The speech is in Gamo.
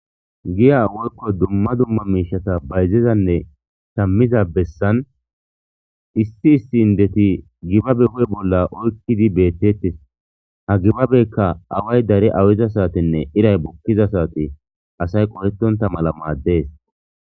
Giya woyko duma duma miishata shamizane bayziza besan issi issi indeti gibabe ba huuphe bola wothidi beetetes gibabeka away dari awida saatene iray bukiza saate asay qohetonta mala maades.